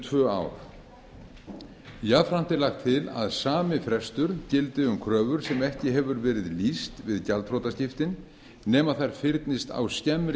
tvö ár jafnframt er lagt til að sami frestur gildi um kröfur sem ekki hefur verið lýst við gjaldþrotaskiptin nema þær fyrnist á skemmri